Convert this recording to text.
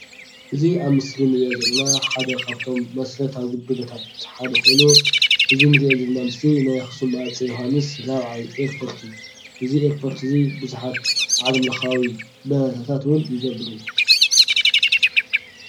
እዚ አብ ምስሊ ንሪኦ ዘለና ሓደ ካብቶም መሰረታዊ አገልግሎታት ሓደ ኮይኑ እዚ ንሪኦ ዘለና ምስሊ ናይ አክሱም ሃፀይ ዮውሃንስ ራብዓይ ኤርፖርት እዩ። እዚ ኤርፖርት እዚ ብዙሓት ዓለም ለካዊ በረራታት እውን ይገብር እዩ።